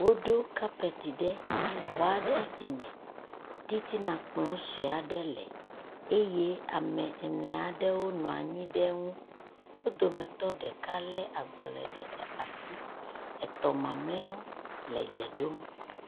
Woɖo kapeti ɖe xɔ aɖe si me tititi kplɔ sue aɖe le eye ame ene aɖewo nɔ anyi ɖe eŋu, wo dometɔ ɖeka lé agbalẽ ɖe asi, etɔ̃ mamleawo le dze ɖom.